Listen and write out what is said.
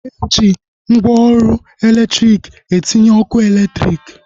Eji mgwooru elektriki etinye ọkụ eletrik